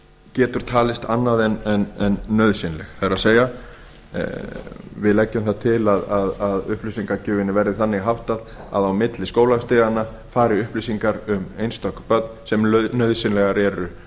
getur talist annað en nauðsynleg það er við leggjum það til að upplýsingagjöfinni verði þannig háttað að á milli skólastiganna fari upplýsingar um einstök börn sem nauðsynlegar eru